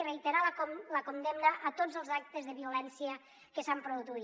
i reiterar la condemna a tots els actes de violència que s’han produït